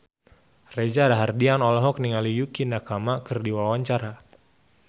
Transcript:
Reza Rahardian olohok ningali Yukie Nakama keur diwawancara